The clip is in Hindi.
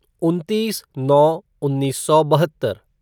उनतीस नौ उन्नीस सौ बहत्तर